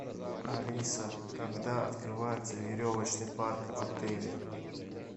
алиса когда открывается веревочный парк в отеле